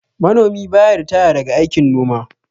Manomi ba ya ritaya daga aikin noma